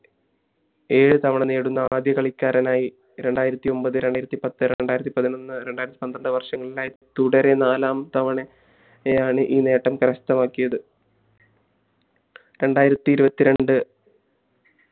ഏഴു തവണ നേടുന്ന ആദ്യ കളിക്കാരനായി രണ്ടായിരത്തി ഒൻപത് രണ്ടായിരത്തി പത്ത് രണ്ടായിരത്തി പതിനൊന്ന് രണ്ടായിരത്തി പന്ത്രണ്ട് വർഷങ്ങളിലായി തുടരെ നാലാം തവണയാണ് ഈ നേട്ടം കരസ്ഥമാക്കിയത് രണ്ടരത്തി ഇരുവത്തി രണ്ട്